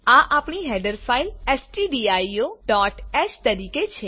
આ આપણી header file stdioહ તરીકે છે